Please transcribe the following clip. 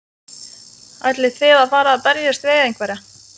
Ætlið þið að fara að berjast við einhverja?